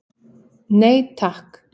Nei takk.